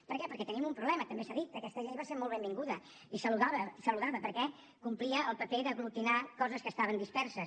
per què perquè tenim un problema també s’ha dit aquesta llei va ser molt benvinguda i saludada perquè complia el paper d’aglutinar coses que estaven disperses